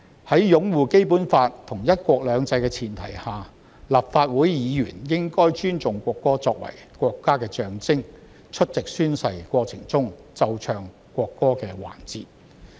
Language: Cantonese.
在擁護《基本法》和"一國兩制"的前提下，立法會議員應該尊重國歌作為國家的象徵，出席宣誓過程中奏唱國歌的環節。